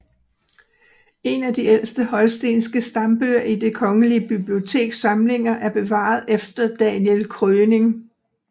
En af de ældste holstenske stambøger i Det Kongelige Biblioteks samlinger er bevaret efter Daniel Kröning